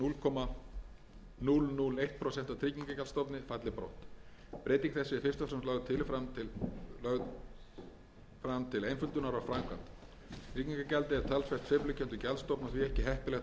að núll komma núll núll eitt prósent af tryggingagjaldsstofni falli brott breyting þessi er fyrst og fremst lögð fram til einföldunar á framkvæmd tryggingagjaldið er talsvert sveiflukenndur gjaldstofn og því ekki heppilegt að fjármagna